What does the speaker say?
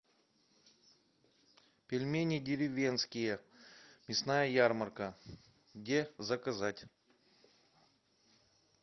пельмени деревенские мясная ярмарка где заказать